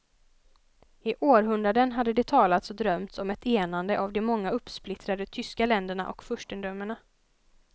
I århundraden hade det talats och drömts om ett enande av de många uppsplittrade tyska länderna och furstendömena.